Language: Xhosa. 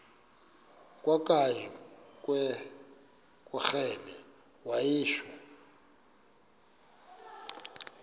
kwakanye ngekrele wayishu